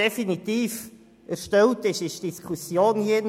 Definitiv geführt wurde indessen die Diskussion im Rat;